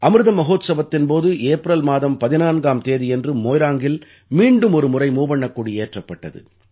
அமிர்த மஹோத்ஸவத்தின் போது ஏப்ரல் மாதம் 14ஆம் தேதியன்று மோய்ராங்கில் மீண்டுமொரு முறை மூவண்ணக் கொடி ஏற்றப்பட்டது